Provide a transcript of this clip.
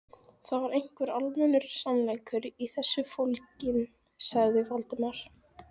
Það var einhver almennur sannleikur í þessu fólginn, hugsaði Valdimar.